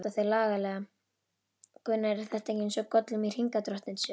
Gunnar: Er þetta ekki eins og Gollum í Hringadróttinssögu?